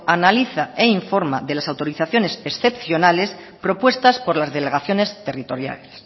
analiza e informa de las autorizaciones excepcionales propuestas por las delegaciones territoriales